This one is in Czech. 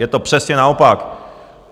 Je to přesně naopak.